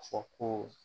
Ka fɔ ko